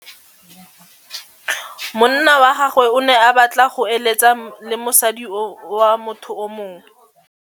Monna wa gagwe o ne a batla go êlêtsa le mosadi wa motho yo mongwe.